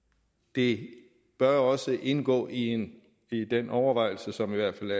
det bør også indgå i i den overvejelse som i hvert fald